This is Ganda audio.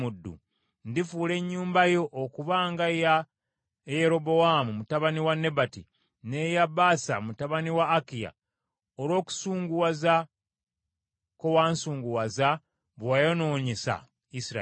Ndifuula ennyumba yo okuba nga eya Yerobowaamu mutabani wa Nebati, n’eya Baasa mutabani wa Akiya, olw’okusunguwaza kwe wansunguwaza bwe wayonoonyesa Isirayiri.’